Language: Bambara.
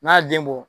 N'a ye den bɔ